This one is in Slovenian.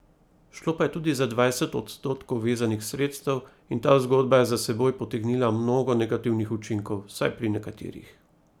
Šlo pa je tudi za dvajset odstotkov vezanih sredstev, in ta zgodba je za seboj potegnila mnogo negativnih učinkov, vsaj pri nekaterih.